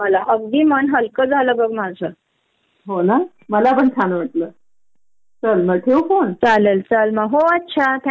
कळ म्हणजे कळतच नाही कधी कधी कस कराव कश्या पद्धतीने वर्क लाईफ बॅलेन्स मेंटेन करावा खरंच मोठा प्रश्न होतो समोर.